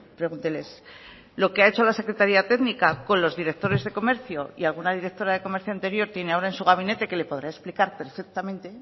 pregúnteles lo que ha hecho la secretaría técnica con los directores de comercio y alguna directora de comercio anterior tiene ahora en su gabinete que le podrá explicar perfectamente